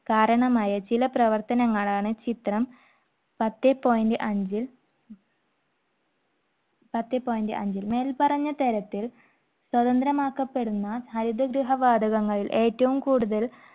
കാരണമായ ചില പ്രവർത്തനങ്ങളാണ്. ചിത്രം പത്തേ point അഞ്ചു പത്തെ point അഞ്ചിൽ മേൽപ്പറഞ്ഞ തരത്തിൽ സ്വതന്ത്രമാക്കപ്പെടുന്ന ഹരിതഗൃഹ വാതകങ്ങൾ ഏറ്റവും കൂടുതൽ